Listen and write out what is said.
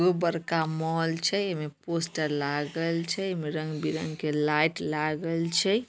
खूब बरका मॉल छै एमें पोस्टर लागल छै एमें रंग-बिरंग के लाइट लागल छै।